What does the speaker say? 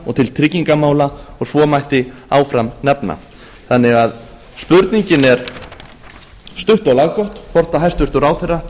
og til tryggingamála og svo mætti áfram nefna þannig að spurningin er stutt og laggóð hvort hæstvirtur ráðherra